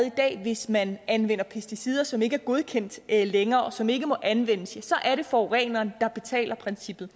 i dag hvis man anvender pesticider som ikke er godkendt længere og som ikke må anvendes så er det forureneren betaler princippet